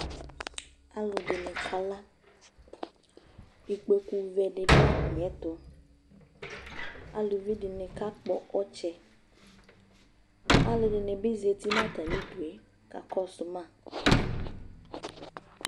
alo ɛdini ka la ikpoku vɛ di do atamiɛto aluvi di ni kakpɔ ɔtsɛ alo ɛdini bi zati no atami udu ka kɔso ma